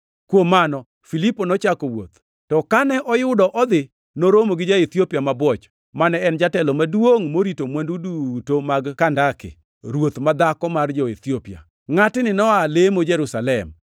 Kuom mano, Filipo nochako wuoth, to kane oyudo odhi, noromo gi ja-Ethiopia mabwoch, mane en jatelo maduongʼ morito mwandu duto mag Kandake, “ruoth ma dhako mar jo-Ethiopia.” Ngʼatni noa lemo Jerusalem,